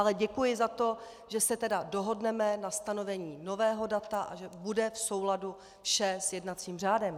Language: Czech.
Ale děkuji za to, že se tedy dohodneme na stanovení nového data a že bude v souladu vše s jednacím řádem.